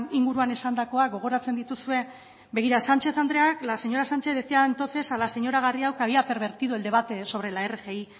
inguruan esandakoa gogoratzen dituzue begira la señora sánchez decía entonces a la señora garrido que había pervertido el debate sobre la rgi